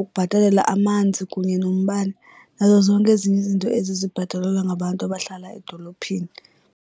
ukubhatalela amanzi kunye nombane nazo zonke ezinye izinto ezi zibhatalelwa ngabantu abahlala edolophini.